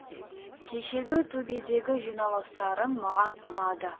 кешегі төбедегі жиналыстарың маған ұнады